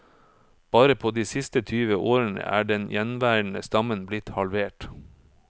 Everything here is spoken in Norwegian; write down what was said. Bare på de siste tyve årene er den gjenværende stammen blitt halvert.